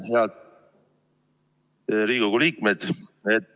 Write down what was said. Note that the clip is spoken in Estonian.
Head Riigikogu liikmed!